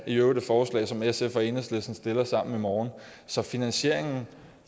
i øvrigt et forslag som sf og enhedslisten stiller sammen i morgen så finansieringen